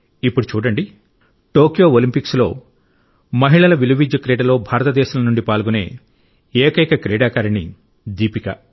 ఇప్పుడు చూడండి టోక్యో ఒలింపిక్స్లో మహిళల ఆర్చరీ క్రీడలో భారతదేశం నుండి పాల్గొనే ఏకైక క్రీడాకారిణి దీపిక